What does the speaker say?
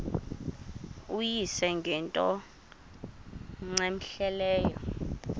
uyise ngento cmehleleyo